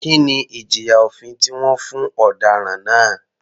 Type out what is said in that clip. Kí ni ìjìyà òfin tí wọ́n fún ọ̀daràn náà?